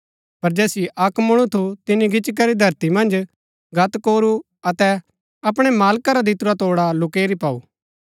पर जैसिओ अक्क मुळु थु तिनी गिच्ची करी धरती मन्ज गत्त कोरू अतै अपणै मालका रा दितुरा तोड़ा लुकैरी पाऊ